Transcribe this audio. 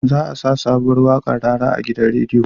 Za a sa sabuwar waƙar rara a gidan radio